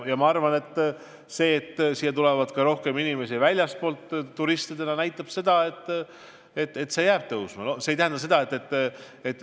Ma arvan, et fakt, et siia tuleb rohkem inimesi ka väljastpoolt turistidena, näitab samuti seda, et liiklusintensiivsus jääb kasvama.